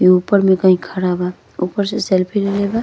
इ ऊपर में कहीं खड़ा बा। ऊपर से सेल्फी लेले बा।